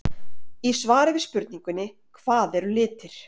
Í svari við spurningunni Hvað eru litir?